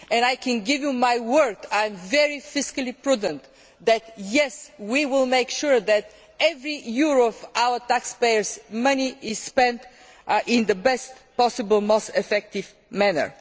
I can give you my word that I am very fiscally prudent and that, yes, we will make sure that every Euro of our taxpayers' money is spent in the best possible and most effective manner.